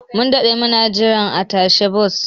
Mun daɗe muna jira a tashar bas.